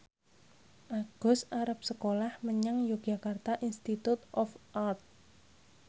Agus arep sekolah menyang Yogyakarta Institute of Art